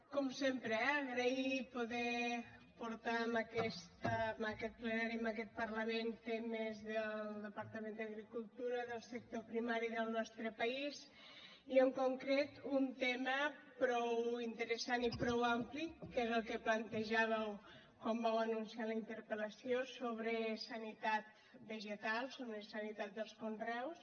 com sempre eh agrair poder portar en aquest plenari en aquest parlament temes del departament d’agricultura del sector primari del nostre país i en concret un tema prou interessant i prou ampli que és el que plantejàveu quan vau anunciar la interpel·lació sobre sanitat vegetal sobre sanitat dels conreus